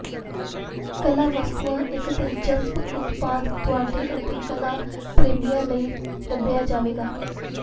ਕਲਾ ਵਸਤੂਆਂ ਇੱਕ ਦਿਲਚਸਪ ਉਤਪਾਦ ਤੁਹਾਡੇ ਅਤੇ ਕਲਾ ਪ੍ਰੇਮੀਆਂ ਲਈ ਲੱਭਿਆ ਜਾਵੇਗਾ